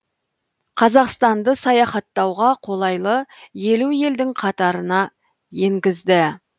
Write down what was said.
қазақстанды саяхаттауға қолайлы елу елдің қатарына енгізді